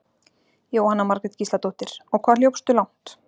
Jóhanna Margrét Gísladóttir: Og hvað hljópstu langt?